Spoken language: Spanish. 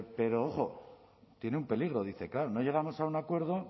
pero ojo tiene un peligro dice claro no llegamos a un acuerdo